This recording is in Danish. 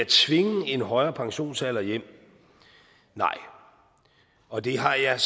tvinge en højere pensionsalder hjem nej og det har jeg